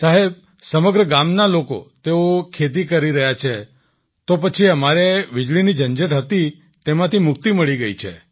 સાહેબ સમગ્ર ગામના લોકો તેઓ ખેતી કરી રહ્યા છે તો પછી અમારે વીજળીની જે ઝંઝટ હતી તેમાંથી મુક્તિ મળી ગઈ છે